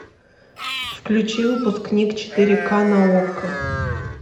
включи выпускник четыре ка на окко